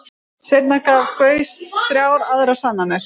Seinna gaf Gauss þrjár aðrar sannanir.